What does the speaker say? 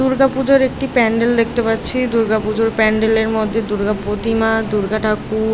দুর্গাপূজার একটি প্যান্ডেল দেখতে পাচ্ছি দূর্গা পূজার প্যান্ডেলের মধ্যে দুর্গা প্রতিমা দুর্গা ঠাকুর --